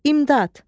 İmdad.